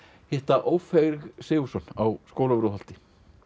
hitta Ófeig Sigurðsson á Skólavörðuholti